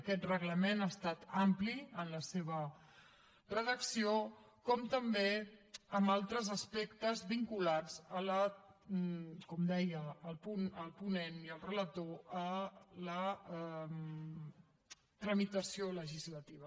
aquest reglament ha estat ampli en la seva redacció com també en altres aspectes vinculats com deia el ponent i el relator a la tramitació legislativa